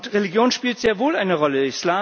Religion spielt sehr wohl eine Rolle.